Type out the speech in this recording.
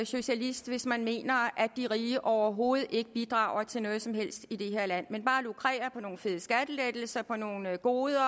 socialist hvis man mener at de rige overhovedet ikke bidrager til noget som helst i det her land men bare lukrerer på nogle fede skattelettelser på nogle goder